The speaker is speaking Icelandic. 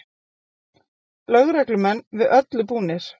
Lögreglumenn við öllu búnir